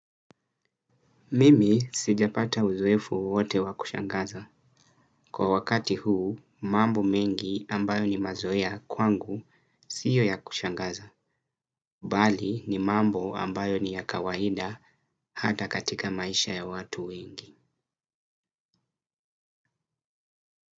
Mimi sijapata uzoefu wowote wa kushangaza. Kwa wakati huu, mambo mengi ambayo ni mazoea kwangu siyo ya kushangaza. Bali ni mambo ambayo ni ya kawaida hata katika maisha ya watu wengi.